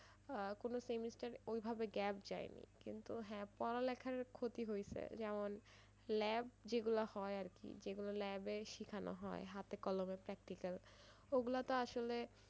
আহ কোনো semester ওইভাবে gap যায়নি কিন্তু হ্যাঁ পড়ালেখার ক্ষতি হইছে যেমন lab যেগুলা হয় আরকি যেগুলো lab এ শিখানো হয় হাতে কলমে practical অগুলা তো আসলে,